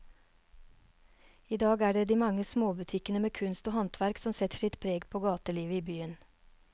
I dag er det de mange små butikkene med kunst og håndverk som setter sitt preg på gatelivet i byen.